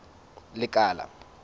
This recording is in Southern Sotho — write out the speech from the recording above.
lekala